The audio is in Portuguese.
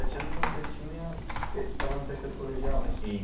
Dezessete anos você tinha você estava no terceiro colegial?